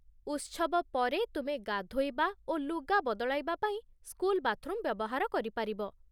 ଉତ୍ସବ ପରେ, ତୁମେ ଗାଧୋଇବା ଓ ଲୁଗା ବଦଳାଇବା ପାଇଁ ସ୍କୁଲ ବାଥରୁମ୍ ବ୍ୟବହାର କରିପାରିବ।